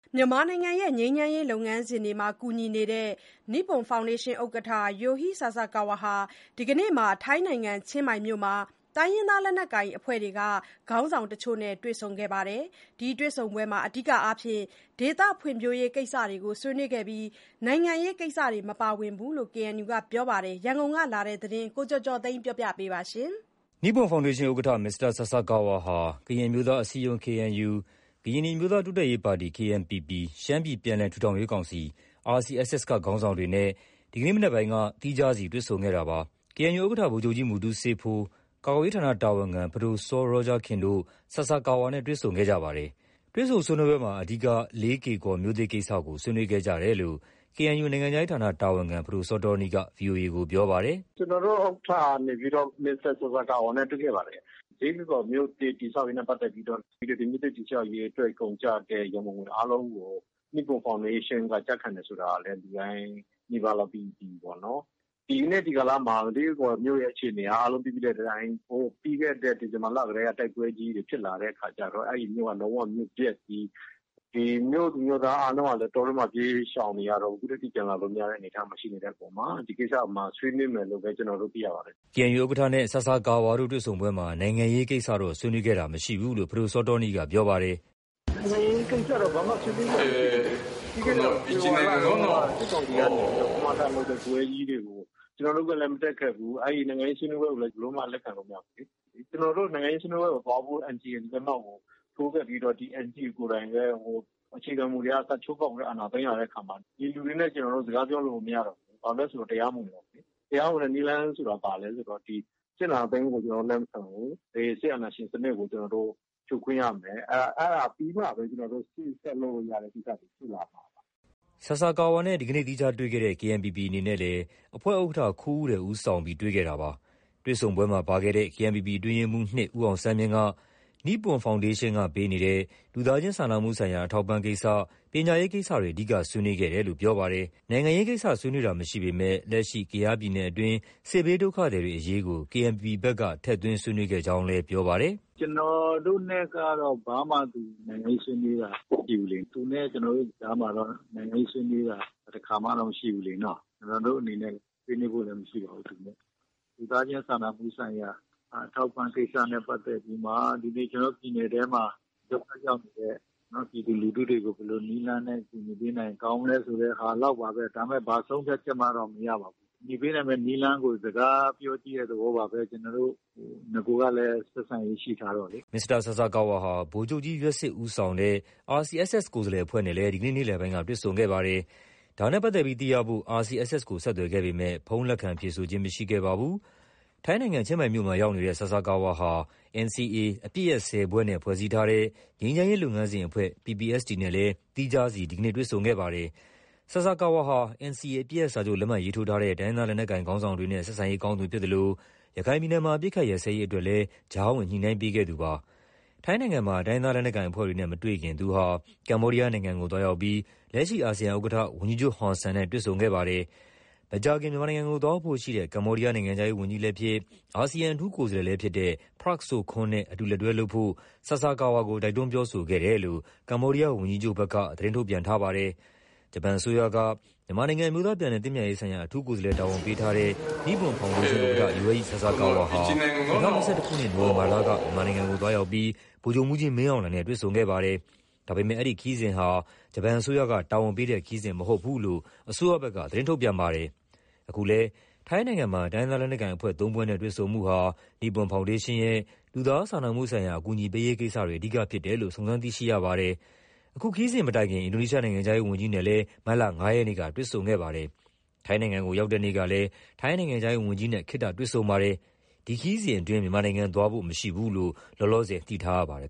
မြန်မာနိုင်ငံရဲ့ ငြိမ်းချမ်းရေးလုပ်ငန်းစဉ်တွေမှာ ကူညီနေတဲ့ နိပွန်ဖောင်ဒေးရှင်းဥက္ကဋ္ဌ Yohei Sasakawa ဟာ ဒီကနေ့ ထိုင်းနိုင်ငံ ချင်းမိုင်မြို့မှာ တိုင်းရင်းသားလက်နက်ကိုင်အဖွဲ့တွေက ခေါင်းဆောင်တချို့နဲ့ တွေ့ဆုံခဲ့ပါတယ်။ ဒီတွေ့ဆုံပွဲမှာ အဓိကအားဖြင့် ဒေသဖွံ့ဖြိုးရေးကိစ္စတွေကို ဆွေးနွေးခဲ့ပြီး နိုင်ငံရေးကိစ္စတွေမပါဝင်ဘူးလို့ KNU ကပြောပါတယ်။ ရန်ကုန်ကလာတဲ့ ဒီသတင်းကိုတော့ ကိုကျော်ကျော်သိန်းက တင်ပြပေးထားပါတယ်။ နိပွန်ဖောင်ဒေးရှင်းဥက္ကဋ္ဌ မစ္စတာဆာဆာကာဝါဟာ ကရင်အမျိုးသားအစည်းအရုံး KNU ၊ ကရင်နီအမျိုးသားတိုးတက်ရေးပါတီ KNPP ၊ ရှမ်းပြည်ပြန်လည်ထူထောင်ရေးကောင်စီ RCSS က ခေါင်းဆောင်တွေနဲ့ ဒီကနေ့မနက်ပိုင်းက သီးခြားစီတွေ့ဆုံခဲ့တာပါ။ KNU ဥက္ကဋ္ဌ ဗိုလ်ချုပ်ကြီး မူတူးဆေးဖိုး၊ ကာကွယ်ရေးဌာနတာဝန်ခံ ပဒိုစောရောဂျာခင်တို့ ဆာဆာကာဝါနဲ့ တွေ့ဆုံခဲ့ကြပါတယ်။ တွေ့ဆုံဆွေးနွေးပွဲမှာ အဓိက လေးကေ့ကော်မြို့သစ် ကိစ္စကို ဆွေးနွေးခဲ့ကြတယ်လို့ KNU နိုင်ငံခြားရေးဌာန တာဝန်ခံ ပဒိုစောတောနီးက ဗွီအိုအေ ကို ပြောပါတယ်။ “ကျနော်တို့ ဥက္ကဋ္ဌကနေပြီးတော့ မစ္စတာ ဆာဆာကာဝါနဲ့ တွေ့ခဲ့ပါတယ်။ လေးကေ့ကော်မြို့သစ် တည်ဆောက်ရေးနဲ့ ပတ်သက်ပြီးတော့ ဒီမြို့သစ်တည်ဆောက်ရေးအတွက် ကုန်ကျတဲ့ ရန်ပုံငွေအားလုံးကို နိပွန်ဖောင်ဒေးရှင်းက ကျခံတယ်ဆိုတာကလည်း လူတိုင်းနီးပါးလောက် သိပြီးပြီပေါ့နော်။ ဒီနေ့ ဒီကာလမှာ လေးကေ့ကော်မြို့သစ်ရဲ့ အခြေအနေက အားလုံးသိပြီးတဲ့အတိုင်း ပြီးခဲ့တဲ့ ဒီဇင်ဘာလတည်းက တိုက်ပွဲကြီးတွေ ဖြစ်လာတဲ့အခါကျတော့ အဲဒီမြို့က လုံးဝ မြို့ပျက်ကြီး၊ မြို့သူမြို့သားအားလုံးကလည်း တောထဲမှာ ပြေးရှောင်နေရတော့ အခုထက်ထိ ပြန်လာလို့မရတဲ့ အနေအထား ရှိနေတဲ့အပေါ်မှာ ဒီကိစ္စ ဆွေးနွေးမယ်လို့ပဲ ကျနော်တို့ သိရပါတယ်။” KNU ဥက္ကဋ္ဌနဲ့ ဆာဆာကာဝါတို့ တွေ့ဆုံပွဲမှာ နိုင်ငံရေးကိစ္စတွေတော့ ဆွေးနွေးခဲ့ခြင်းမရှိဘူးလို့ ပဒိုစောတောနီးကပြောပါတယ်။ “နိုင်ငံရေးကိစ္စတော့ ဘာမှ ဆွေးနွေးစရာမရှိဘူးလေ။ ပြီးခဲ့တဲ့ ဖေဖော်ဝါရီလတုန်းက စစ်ကောင်စီက ကမကထလုပ်တဲ့ ပွဲကြီးတွေ ကို ကျနော်တို့ကမတက်ခဲ့ဘူး။ နိုင်ငံရေးဆွေးနွေးပွဲကိုလည်း လက်ခံလို့ မရဘူးလေ။ ကျနော်တို့ နိုင်ငံရေးဆွေးနွေးပွဲကိုသွားဖို့ NCA ကို လက်မှတ်ထိုးခဲ့ပြီး ဒီ NCA ကိုယ်တိုင်လည်း အခြေခံမူတွေက စချိုးဖောက်ပြီး အာဏာသိမ်းလာတဲ့အခါမှာ ဒီလူတွေနဲ့ ကျနော်တို့ စကားပြောလို့ကို မရတော့ဘူးလေ။ ဘာလို့လဲဆို တရားမဝင်တော့ဘူးလေ။ တရားဝင်တဲ့နည်းလမ်းဆိုတာ ဘာလဲ ဆိုတော စစ်အာဏာသိမ်းမှုကို ကျနော်တို့ လက်မခံဘူး။ စစ်အာဏာရှင်စနစ်ကို ကျနော်တို့ ဖြိုခွင်းရမယ်။ အဲဒါပြီးမှပဲ ကျနော်တို့ ရှေ့ဆက်လုပ်လို့ရမယ့်ကိစ္စတွေ ရှိလာမှာပါ။” ဒီနေ့ ဆာဆာကာဝါနဲ့ သီးခြားတေ့ွခဲ့တဲ့ KNPP အနေနဲ့လည်း အဖွဲ့ဥက္ကဋ္ဌ ခူးဦးရယ် ဦးဆောင်ပြီး တွေ့ခဲ့တာပါ။ တွေ့ဆုံပွဲမှာ ပါခဲ့တဲ့ KNPP အတွင်းရေးမှူး ၂ ဦးအောင်ဆန်းမြင့်က နိပွန်ဖောင်ဒေးရှင်းက ပေးအပ်နေတဲ့ လူသားချင်းစာနာမှုဆိုင်ရာ အထောက်အပံ့ကိစ္စ၊ ပညာရေးကိစ္စတွေ အဓိက ဆွေးနွေးဖြစ်တယ်လို့ ပြောပါတယ်။ နိုင်ငံရေးကိစ္စဆွေးနွေးတာမရှိပေမယ့် လက်ရှိ ကယားပြည်နယ်အတွင်းက စစ်ဘေးဒုက္ခသည်တွေအရေးကို KNPP ဘက်က ထည့်သွင်း ဆွေးနွေးခဲ့ကြောင်းလည်း ပြောပါတယ်။ “ကျနော်တို့နဲ့ကတော့ ဘာမှ နိုင်ငံရေးဆွေးနွေးတာမရှိဘူးလေ။ သူနဲ့ ကျနော်တို့နဲ့ကြားမှာတော့ နိုင်ငံရေးဆွေးနွေးတာ တခါမှလည်း မရှိဘူးလေနော။ ကျနော်တို့အနေနဲ့ ဆွေးနွေးဖို့လည်းမရှိပါဘူး။ လူသားချင်းစာနာမှုဆိုင်ရာ အထောက်အပံ့ကိစ္စနဲ့ ပတ်သက်ပြီးမှ ဒီနေ့ ကျနော်တို့ ပြည်နယ်ထဲမှာ ဒုက္ခရောက်နေတဲ့ ပြည်သူလူထုတွေကို ဘယ်လိုနည်းလမ်းနဲ့ ကူညီပေးနိုင်ရင် ကောင်းမလဲဆိုတဲ့ဟာလောက်ပါပဲ။ ဒါပေမယ့် ဘာဆုံးဖြတ်ချက်မှတော့ မရပါဘူး။ ကူညီပေးနိုင်မဲ့နည်းလမ်းကို စကားပြောကြည့်တဲ့ သဘောပါပဲ။ နဂိုကလည်း ဆက်ဆံရေးရှိထားတော့လေ။ ” မစ္စတာဆာဆာကာဝါဟာ ဗိုလ်ချုပ်ကြီးယွက်စစ်ဦးဆောင်တဲ့ RCSS ကိုယ်စားလှယ်အဖွဲ့နဲ့လည်း ဒီနေ့ နေ့လယ်ပိုင်းက တွေဆုံခဲ့ ပါတယ်။ ဒါနဲ့ပတ်သက်ပြီးသိရဖို့ RCSS ကို ဆက်သွယ်ခဲ့ပေမဲ့ ဖုန်းလက်ခံဖြေဆိုခြင်း မရှိခဲ့ပါဘူး။ ထိုင်းနိုင်ငံ ချင်းမိုင်မြို့မှာရောက်နေတဲ့ ဆာဆာကာဝါဟာ NCA အပစ်ရပ် ၁၀ ဖွဲ့နဲ့ ဖွဲ့စည်းထားတဲ့ ငြိမ်းချမ်းရေးလုပ်ငန်းစဉ် ဦးဆောင်အဖွဲ့ PPST နဲ့လည်း သီးခြားစီ ဒီနေ့ တွေ့ဆုံခဲ့ပါတယ်။ မစ္စတာဆာဆာကာဝါဟာ NCA အပစ်ရပ်စာချုပ်လက်မှတ်ရေးထိုးထားတဲ့ တိုင်းရင်းသားလက်နက်ကိုင်ခေါင်းဆောင်တွေနဲ့ ဆက်ဆံရေးကောင်းသူဖြစ်သလို ရခိုင်ပြည်နယ်မှာ အပစ်အခတ် ရပ်စဲရေးအတွက်လည်း ကြားဝင်ညှိနှိုင်းပေးခဲ့သူ ဖြစ်ပါတယ်။ အခုလို ထိုင်းနိုင်ငံမှာ တိုင်းရင်းသားလက်နက်ကိုင်အဖွဲ့တွေနဲ့မတွေ့ခင် သူဟာ ကမ္ဘောဒီးယားနိုင်ငံကို သွားရောက်ပြီး လက်ရှိ အာဆီယံဥက္ကဋ္ဌ ဝန်ကြီးချုပ်ဟွန်ဆန်နဲ့ တွေ့ဆုံခဲ့ပါတယ်။ မကြာခင် မြန်မာနိုင်ငံကို သွားရောက်ဖို့ရှိတဲ့ ကမ္ဘောဒီးယား နိုင်ငံခြား ရေးဝန်းကြီးလည်းဖြစ်၊ အာဆီယံ အထူးကိုယ်စားလှယ်လည်းဖြစ်တဲ့ Prak Sokhonn နဲ့ အတူလက်တွဲလုပ်ဖို့ ဆာဆာကာဝါကို တိုက်တွန်းပြောကြားခဲ့တယ်လို့ ကမ္ဘောဒီးယားဝန်ကြီးချုပ်ဘက်က သတင်းထုတ်ပြန်ထားပါတယ်။ ဂျပန်အစိုးရက မြန်မာနိုင်ငံ အမျိုးသားပြန်လည်သင့်မြတ်ရေးဆိုင်ရာ အထူးကိုယ်စားလှယ်တာဝန်ပေးထားတဲ့ နိပွန်ဖောင်ဒေးရှင်း ဥက္ကဋ္ဌ Yohei Sasakawa ဟာ ၂၀၂၁ ခုနှစ် နိုဝင်ဘာလက မြန်မာနိုင်ငံကို သွားရောက်ပြီး စစ်ကောင်စီအကြီးအကဲ ဗိုလ်ချုပ်မှူးကြီးမင်းအောင်လှိုင်နဲ့ တွေ့ဆုံခဲ့ပါတယ်။ ဒါပေမဲ့ အဲဒီခရီးစဉ်ဟာ ဂျပန်အစိုးရကတာဝန်ပေးတဲ့ ခရီးစဉ်မဟုတ်ဘူးလို့ ဂျပန်အစိုးရဘက်က ထုတ်ပြန်ခဲ့ပါတယ်။ အခုလည်း ထိုင်းနိုင်ငံမှာ တိုင်းရင်းသားလက်နက်ကိုင်အဖွဲ့ ၃ ဖွဲ့နဲ့ တွေ့ဆုံမှုဟာ နိပွန် ဖောင်ဒေးရှင်းရဲ့ လူသားစာနာမှုဆိုင်ရာ အကူအညီပေးရေးကိစ္စတွေ အဓိကဖြစ်တယ်လို့ စုံစမ်းသိရပါတယ်။ အခုခရီးစဉ်မတိုင်ခင် အင်ဒိုနီးရှားနိုင်ငံခြားရေးဝန်ကြီးနဲ့လည်း မတ်လ ၅ ရက်နေ့ကတွေ့ဆုံခဲ့ပါတယ်။ ထိုင်းနိုင်ငံကို ရောက်တဲ့ နေ့ကလည်း ထိုင်းနိုင်ငံခြားရေးဝန်ကြီးနဲ့ ခေတ္တတွေ့ဆုံခဲ့ပါတယ်။ ဒီခရီးစဉ်အတွင်း မြန်မာနိုင်ငံသွားဖို့ မရှိဘူးလို့ လောလောဆယ် သိထားရပါတယ်